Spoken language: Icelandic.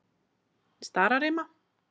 Stararima